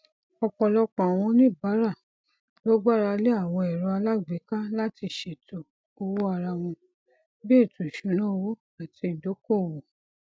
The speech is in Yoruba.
ọpọlọpọ àwọn oníbàárà ló gbára lé àwọn ẹrọ alágbèéká láti ṣètò owó ara wọn bí ètò ìṣúnáowó àti ìdókowò